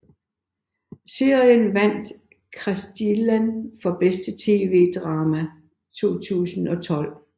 Serien vandt Kristiallen for bedste TV drama 2012